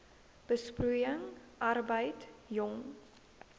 besproeiing arbeid jong